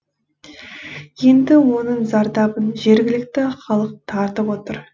енді оның зардабын жергілікті халық тартып отыр